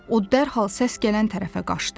O dərhal səs gələn tərəfə qaçdı.